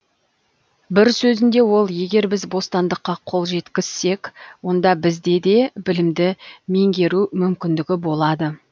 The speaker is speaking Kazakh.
бір сөзінде ол егер біз бостандыққа қол жеткізсек онда бізде де білімді меңгеру мүмкіндігі болады